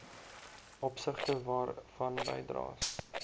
opsigte waarvan bydraes